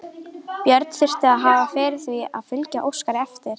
Björn þurfti að hafa fyrir því að fylgja Óskari eftir.